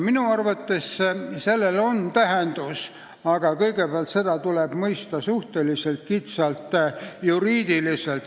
Minu arvates sellel on tähendus, aga kõigepealt tuleb seda mõista suhteliselt kitsalt, juriidiliselt.